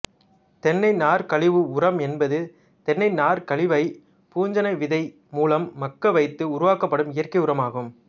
தென்னை நார்க்கழிவு உரம் என்பது தென்னை நார்க்கழிவைப் பூஞ்சண விதை மூலம் மக்க வைத்து உருவாக்கப்படும் இயற்கை உரம் ஆகும்